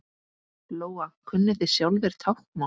Lóa: Kunnið þið sjálfir táknmál?